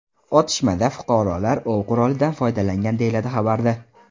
Otishmada fuqarolar ov qurolidan foydalangan”, deyiladi xabarda.